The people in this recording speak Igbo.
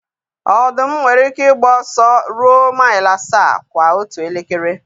Ọdụm nwere ike ịgba ọsọ ruo maịl asaa kwa otu elekere.